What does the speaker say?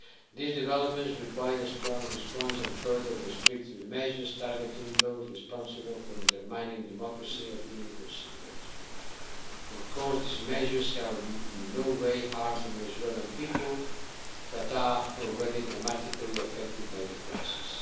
These developments require a strong response, and further restrictive measures targeting those responsible for undermining democracy are being considered. Of course, these measures shall in no way harm the Venezuelan people that are already dramatically affected by the crisis.